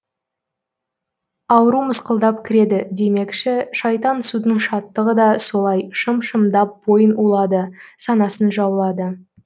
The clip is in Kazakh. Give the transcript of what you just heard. ауру мысқалдап кіреді демекші шайтан судың шаттығы да солай шым шымдап бойын улады санасын жаулады